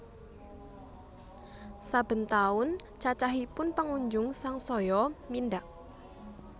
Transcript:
Saben taun cacahipun pengunjung sangsaya mindhak